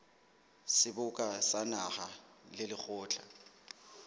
seboka sa naha le lekgotla